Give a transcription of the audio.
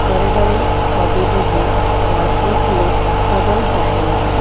बड़े-बड़े पौधे भी है और एक लोग बदल जा रही है।